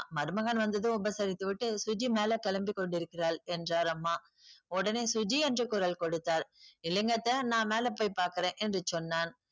மருமகன் வந்ததும் உபசரித்து விட்டு சுஜி மேல கிளம்பி கொண்டிருக்கிறாள் என்றார் அம்மா. உடனே சுஜி என்று குரல் கொடுத்தாள். இல்லீங்க அத்தை நான் மேல போய் பார்க்குறேன் என்று சொன்னான்.